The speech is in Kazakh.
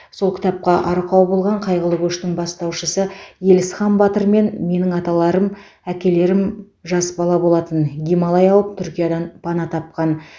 сол кітапқа арқау болған қайғылы көштің бастаушысы елісхан батырмен менің аталарым әкелерім жас бала болатын гималай ауып түркиядан пана тапқан